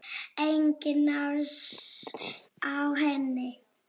Enginn asi á henni.